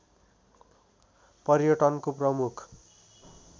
पर्यटनको प्रमुख